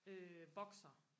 øh boksere